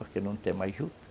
Porque não tem mais juta